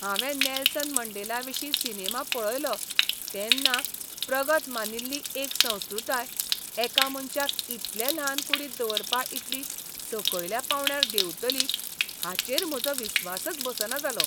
हांवें नेल्सन मंडेलाविशीं सिनेमा पळयलो तेन्ना प्रगत मानिल्ली एक संस्कृताय एका मनशाक इतले ल्हान कूडींत दवरपा इतली सकयल्या पावंड्यार देंवतली हाचेर म्हजो विस्वासच बसना जालो.